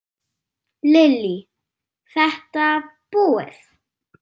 Lillý:. þetta búið?